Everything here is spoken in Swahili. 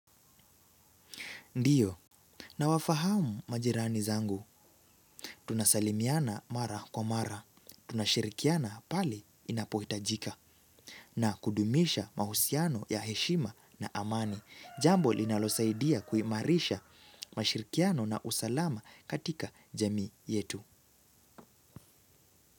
Ndiyo, nawafahamu majirani zangu, tunasalimiana mara kwa mara, tunashirikiana pale inapohitajika na kudumisha mahusiano ya heshima na amani, jambo linalosaidia kuimarisha mashirikiano na usalama katika jamii yetu.